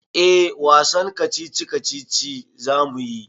Eh wasan kacici-kacici za mu yi.